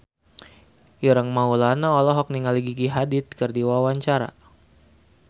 Ireng Maulana olohok ningali Gigi Hadid keur diwawancara